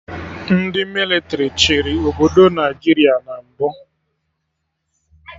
Ndị mịlịtrị chịrị obodo Naijiria na mbụ